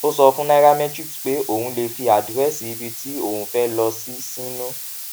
ó sọ fún nairametrics pé òun lè fi àdírésì ibi tí òun fé lọ sí sínú